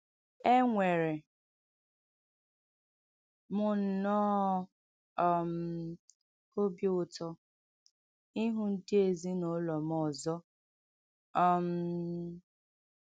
Enwere m nnọọ um obi ụtọ ịhụ ndị ezinụlọ m ọzọ um